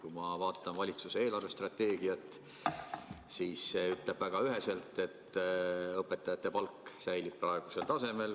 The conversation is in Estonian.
Kui ma vaatan valitsuse eelarvestrateegiat, siis see ütleb väga üheselt, et õpetajate palk säilib praegusel tasemel.